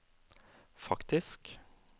faktisk